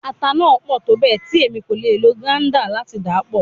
Ata naa pọ tobẹẹ ti Emi ko le lo grater lati dapọ